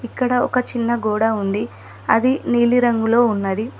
ఇక్కడ ఒక చిన్న గోడ ఉంది అది నీలిరంగులో ఉన్నది.